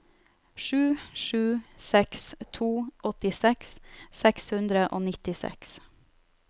sju sju seks to åttiseks seks hundre og nittiseks